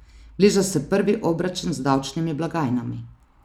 Bliža se prvi obračun z davčnimi blagajnami.